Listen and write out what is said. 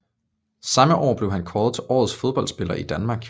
Samme år blev han kåret til Årets fodboldspiller i Danmark